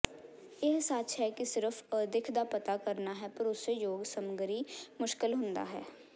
ਇਹ ਸੱਚ ਹੈ ਕਿ ਸਿਰਫ਼ ਅਦਿੱਖ ਦਾ ਪਤਾ ਕਰਨਾ ਹੈ ਭਰੋਸੇਯੋਗ ਸਮੱਗਰੀ ਮੁਸ਼ਕਲ ਹੁੰਦਾ ਹੈ